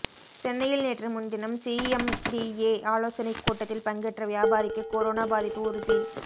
சென்னையில் நேற்று முன்தினம் சிஎம்டிஏ ஆலோசனை கூட்டத்தில் பங்கேற்ற வியாபாரிக்கு கொரோனா பாதிப்பு உறுதி